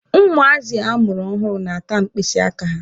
Ụmụazị amụrụ ọhụrụ na-ata mkpịsị aka ha.